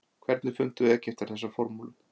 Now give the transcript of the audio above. hvernig fundu egyptar þessa formúlu